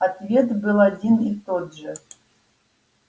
ответ был один и тот же